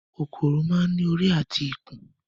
kòkòrò máa ń ní orí àti ikùn